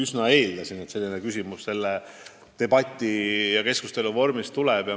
Eks ma eeldasin, et niisugune küsimus selle debati ajal tuleb.